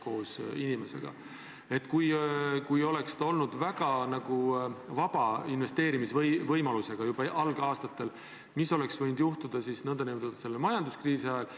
Kui fondid oleks juba algusaastatel olnud väga vaba investeerimisvõimalusega, siis mis oleks võinud juhtuda majanduskriisi ajal?